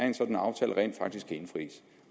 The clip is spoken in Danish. en sådan aftale rent faktisk kan indfries